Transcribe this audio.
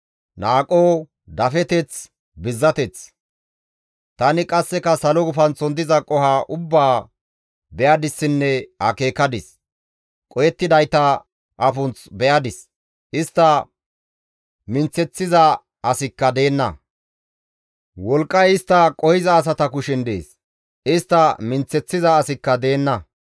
Tani qasseka salo gufanththon diza qoho ubbaa be7adissinne akeekadis; qohettidayta afunth be7adis; istta minththeththiza asikka deenna; wolqqay istta qohiza asata kushen dees; istta minththeththiza asikka deenna.